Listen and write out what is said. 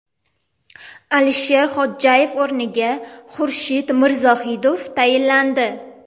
Alisher Xodjayev o‘rniga Xurshid Mirzohidov tayinlandi.